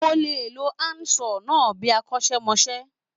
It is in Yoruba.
Mo lè lo handsaw náà bíi akọ́ṣẹ́mọṣẹ́.